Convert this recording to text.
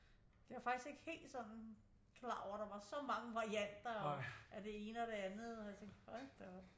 Det var jeg faktisk ikke helt sådan klar over at der var så mange varianter og øh af det ene og det andet og jeg tænkte hold da op